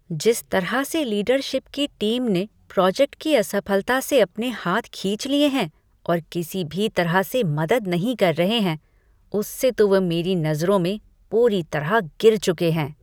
जिस तरह से लीडरशिप की टीम ने प्रोजेक्ट की असफलता से अपने हाथ खींच लिए हैं और किसी भी तरह की मदद नहीं कर रहे हैं, उससे तो वे मेरी नज़रों में पूरी तरह गिर चुके हैं।